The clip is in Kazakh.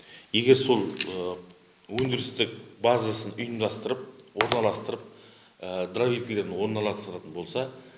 егер сол өндірістік базасын ұйымдастырып орналастырып дровивкілерін орналастыратын болса